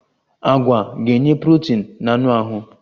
Agwa ga-enye protin na anụ ahụ.